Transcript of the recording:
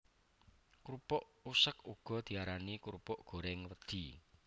Krupuk useg uga diarani krupuk gorèng wedhi